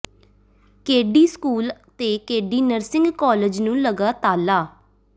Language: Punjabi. ਕੇਡੀ ਸਕੂਲ ਤੇ ਕੇਡੀ ਨਰਸਿੰਗ ਕਾਲਜ ਨੂੰ ਲਗਾ ਤਾਲਾ